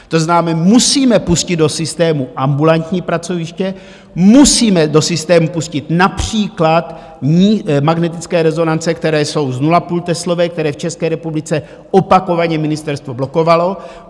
To znamená, musíme pustit do systému ambulantní pracoviště, musíme do systému pustit například magnetické rezonance, které jsou s 0,5teslové, které v České republice opakovaně ministerstvo blokovalo.